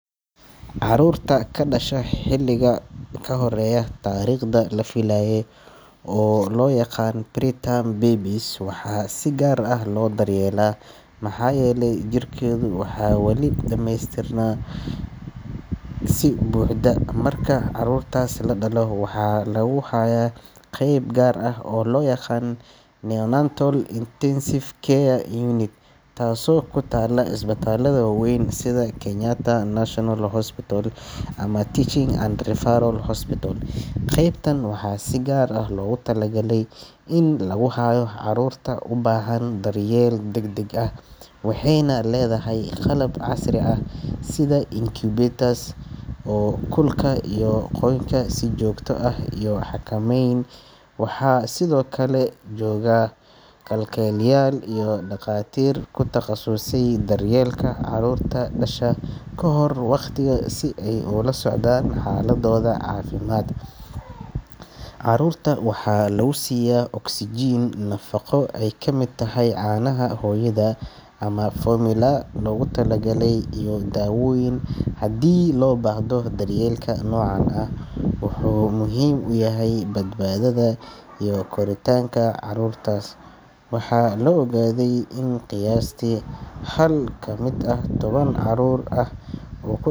Carruurta ku dhasha xilliga ka horreeya taariikhdii la filayay, oo loo yaqaan preterm babies, waxaa si gaar ah loo daryeelaa maxaa yeelay jirkeedu wali ma dhameystirna si buuxda. Marka carruurtaas la dhalo, waxaa lagu hayaa qeyb gaar ah oo loo yaqaan Neonatal Intensive Care Unit (NICU) taasoo ku taalla isbitaalada waaweyn sida Kenyatta National Hospital ama Moi Teaching and Referral Hospital. Qeybtan waxaa si gaar ah loogu talagalay in lagu hayo carruurta u baahan daryeel degdeg ah, waxayna leedahay qalab casri ah sida incubators oo kulka iyo qoyaanka si joogto ah u xakameeya. NICU waxaa sidoo kale jooga kalkaaliyeyaal iyo dhaqaatiir ku takhasusay daryeelka carruurta dhasha ka hor waqtiga si ay ula socdaan xaaladooda caafimaad. Carruurta waxaa lagu siiya oksijiin, nafaqo ay ka mid tahay caanaha hooyada ama formula loogu tala galay, iyo daawooyin haddii loo baahdo. Daryeelka noocan ah wuxuu muhiim u yahay badbaadada iyo koritaanka carruurtaas. Waxaa la ogaaday in qiyaastii hal ka mid ah toban carruur ah uu ku.